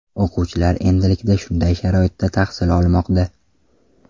O‘quvchilar endilikda shunday sharoitda tahsil olmoqda.